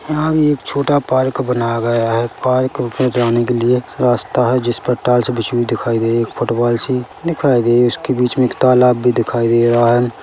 यहाँ भी एक छोटा पार्क बनाया गया है पार्क के आने के लिए छोटा -सा एक रास्ता है जिस पर टाइल्स बिछी हुई दिखाई दे रही है फुटबॉल सी दिखाई दे रही है उसके बीच में एक तालाब भी दिखाई दे रहा है।